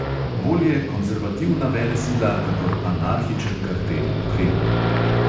Bolje konzervativna velesila kakor anarhičen kartel v kremlju.